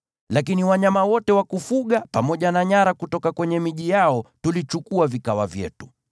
Lakini wanyama wote wa kufuga pamoja na nyara kutoka kwenye miji yao tulichukua vikawa vyetu.